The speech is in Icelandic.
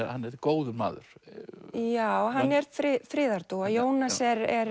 að hann er góður maður já hann er friðardúfa Jónas